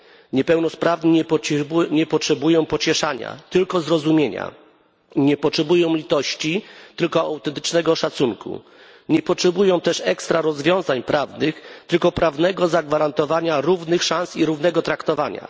niepełnosprawni nie potrzebują pocieszenia, tylko zrozumienia, nie potrzebują litości, tylko autentycznego szacunku, nie potrzebują też ekstra rozwiązań prawnych, tylko prawnego zagwarantowania równych szans i równego traktowania.